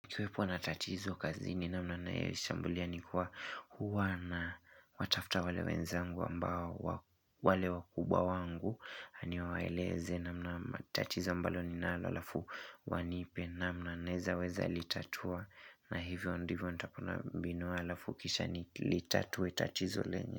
kuKiwepo na tatizo kazi ni namna naishambulia ni kuwa huwa na watafta wale wenzangu ambao wale wakubwa wangu nani waeleze namna na tatizo mbalo ninalo alafu wanipe namna naeza weza litatua na hivyo ndivyo ndivyo ndapunabinoa alafu kisha ni litatue tatizo lenye.